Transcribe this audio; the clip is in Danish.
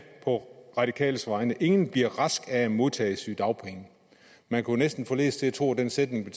på radikales vegne ingen bliver rask af at modtage sygedagpengene man kunne næsten forledes til at tro at den sætning